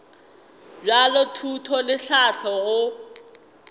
bja thuto le tlhahlo go